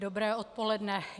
Dobré odpoledne.